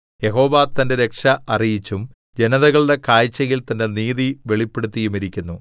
യഹോവ തന്റെ രക്ഷ അറിയിച്ചും ജനതകളുടെ കാഴ്ചയിൽ തന്റെ നീതി വെളിപ്പെടുത്തിയുമിരിക്കുന്നു